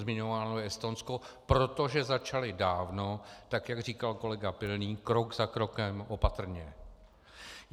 Zmiňováno je Estonsko, protože začali dávno, tak jak říkal kolega Pilný, krok za krokem, opatrně.